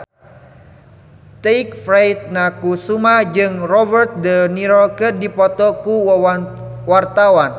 Tike Priatnakusuma jeung Robert de Niro keur dipoto ku wartawan